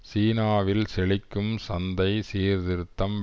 சீனாவில் செழிக்கும் சந்தை சீர்திருத்தம்